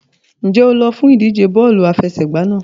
Ǹjẹ́ o lọ fún ìdíje bọ́ọ̀lù àfẹsẹ̀gbá náà?